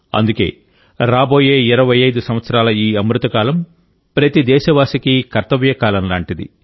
అందుకే రాబోయే 25 సంవత్సరాల ఈ అమృత కాలం ప్రతి దేశవాసికి కర్తవ్యకాలం లాంటిది